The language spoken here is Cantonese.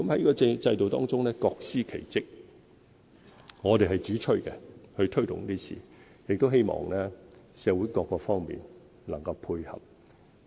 在這個制度中，各司其職，我們是主催推動建屋，亦希望社會各方面能夠配合。